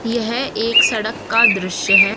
यह एक सड़क का दृश्य है।